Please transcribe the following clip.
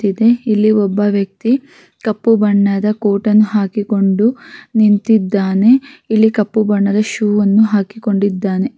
ಇಲ್ಲಿ ಒಬ್ಬ ವ್ಯಕ್ತಿ ಕಪ್ಪು ಬಣ್ಣದ ಕೋಟ್ ಅನ್ನು ಹಾಕಿಕೊಂಡು ನಿಂತಿದ್ದಾನೆ ಇಲ್ಲಿ ಕಪ್ಪು ಬಣ್ಣದ ಶೂ ಅನ್ನು ಹಾಕಿಕೊಂಡಿದ್ದಾನೆ.